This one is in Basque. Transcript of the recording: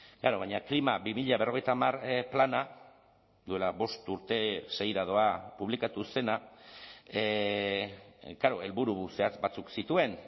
klaro baina klima bi mila berrogeita hamar plana duela bost urte seira doa publikatu zena klaro helburu zehatz batzuk zituen